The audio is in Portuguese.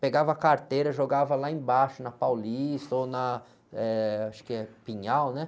Pegava a carteira, jogava lá embaixo, na Paulista ou na, eh, acho que é Pinhal, né?